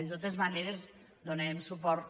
de totes maneres hi donarem suport